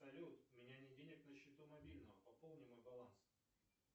салют у меня нет денег на счету мобильного пополни мой баланс